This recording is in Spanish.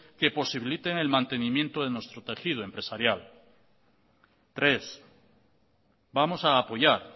que posibiliten el mantenimiento de nuestro tejido empresarial tres vamos a apoyar